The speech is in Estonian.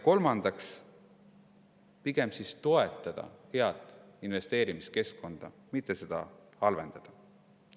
Kolmandaks, pigem toetada head investeerimiskeskkonda, mitte seda halvendada.